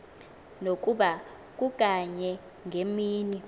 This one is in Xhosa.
nokuba kukanye ngemini